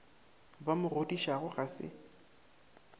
ba mo godišago ga se